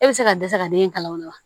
E bɛ se ka dɛsɛ ka den kalan wolo wa